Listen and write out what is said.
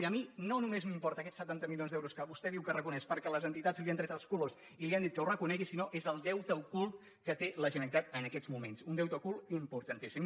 miri a mi no només m’importen aquests setanta milions d’euros que vostè diu que reconeix perquè les entitats li han tret els colors i li han dit que ho reco·negui sinó que és el deute ocult que té la generalitat en aquests moments un deute ocult importantíssim